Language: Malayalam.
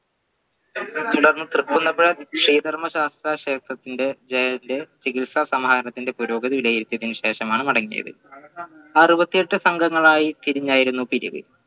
തൃക്കുന്നപ്പുഴ ശ്രീധർമ്മശാസ്താ ക്ഷേത്രത്തിന്റെ ജയ ചികിത്സ സമാഹരണത്തിന്റെ പുരോഗതി വിലയിരുത്തിയതിനു ശേഷമാണ് മടങ്ങിയത് അറുപത്തിഎട്ട് സംഘങ്ങളായി തിരിഞ്ഞായിരുന്നു പിരിവ്